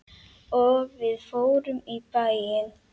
Og við fórum í bæinn.